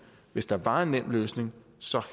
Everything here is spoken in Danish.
hvis der var en nem løsning